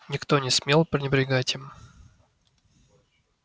никто не смел пренебрегать им